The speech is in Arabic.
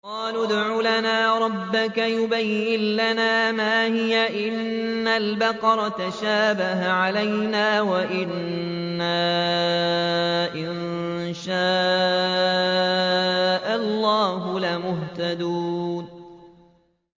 قَالُوا ادْعُ لَنَا رَبَّكَ يُبَيِّن لَّنَا مَا هِيَ إِنَّ الْبَقَرَ تَشَابَهَ عَلَيْنَا وَإِنَّا إِن شَاءَ اللَّهُ لَمُهْتَدُونَ